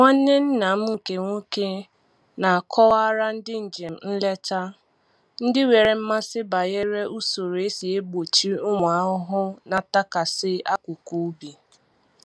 Nwanne nna m nke nwoke na-akọwara ndị njem nleta ndị nwere mmasị banyere usoro e si egbochi ụmụ ahụhụ na-atakasị akụkụ ubi